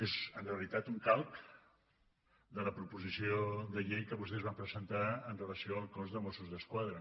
és en realitat un calc de la proposició de llei que vostès van presentar amb relació al cos de mossos d’esquadra